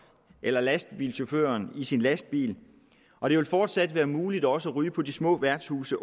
eller lastbilchaufføren i sin lastbil og det vil fortsat være muligt også at ryge på de små værtshuse